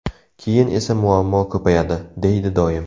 Keyin esa muammo ko‘payadi”, deydi doim.